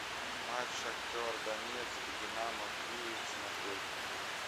матч шахтер донецк динамо киев смотреть